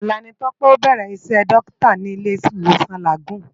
Ólà ni Tope á bèrè Isè Dòkitá ni Ilé Iwósòn Lágùn